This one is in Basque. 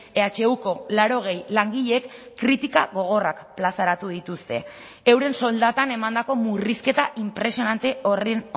ehuko laurogei langileek kritika gogorrak plazaratu dituzte euren soldatan emandako murrizketa inpresionante horren